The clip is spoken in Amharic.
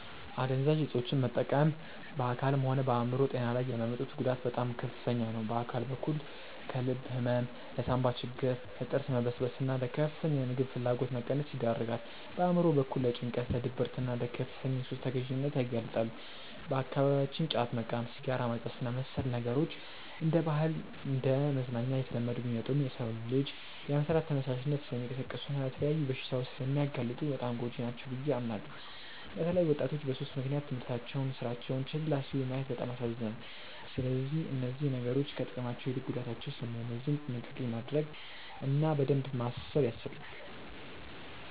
አደንዛዥ እፆችን መጠቀም በአካልም ሆነ በአእምሮ ጤና ላይ የሚያመጡት ጉዳት በጣም ከፍተኛ ነው። በአካል በኩል ለልብ ህመም፣ ለሳንባ ችግር፣ ለጥርስ መበስበስና ለከፍተኛ የምግብ ፍላጎት መቀነስ ይዳርጋል። በአእምሮ በኩል ደግሞ ለጭንቀት፣ ለድብርትና ለከፍተኛ የሱስ ተገዢነት ያጋልጣሉ። በአካባቢያችን ጫት መቃም፣ ሲጋራ ማጨስና መሰል ነገሮች እንደ ባህልና እንደ መዝናኛ እየተለመዱ ቢመጡም፣ የሰውን ልጅ የመስራት ተነሳሽነት ስለሚቀንሱና ለተለያዩ በሽታዎች ስለሚያጋልጡ በጣም ጎጂ ናቸው ብዬ አምናለሁ። በተለይ ወጣቶች በሱስ ምክንያት ትምህርታቸውንና ስራቸውን ችላ ሲሉ ማየት በጣም ያሳዝናል። ስለዚህ እነዚህ ነገሮች ከጥቅማቸው ይልቅ ጉዳታቸው ስለሚያመዝን ጥንቃቄ ማድረግ እና በደንብ ማሰብ ያስፈልጋል።